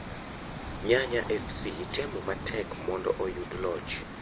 Nyanya fc temo matek monndo oyud loch.